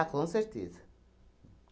com certeza.